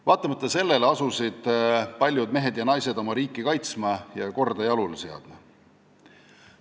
Vaatamata sellele asusid paljud mehed ja naised oma riiki kaitsma ja korda jalule seadma.